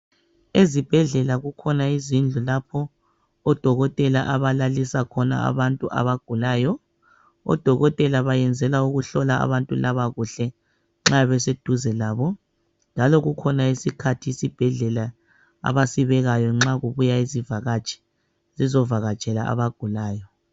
Ezibhedlela kukhona izindlu lapho odokotela abalalisa khona abantu abagulayo odokotela bayenzela ukuhlola abantu laba kuhle nxa beseduze labo njalo kukhona isikhathi esibhedlela abasibekayo nxa kubuya izivakatshi zizovakatshela abagulayo.